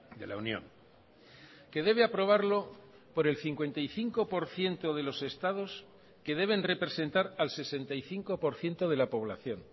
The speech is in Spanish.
de la unión que debe aprobarlo por el cincuenta y cinco por ciento de los estados que deben representar al sesenta y cinco por ciento de la población